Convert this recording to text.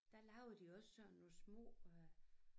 Der lavede de også sådan nogle små øh